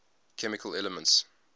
chemical elements